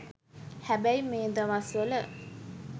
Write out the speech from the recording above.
හැබැයි මේ දවස්වල